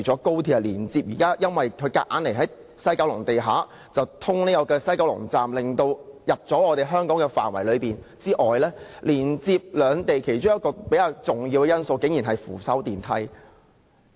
高鐵強行在西九龍站地下通車，進入了香港範圍，連接兩地其中一個較重要元素竟然是扶手電梯。